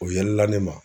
O yɛlɛla ne ma